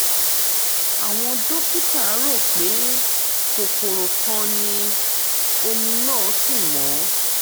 àwọn dókítà rò pé kòkòrò kan ni omi náà sì mọ́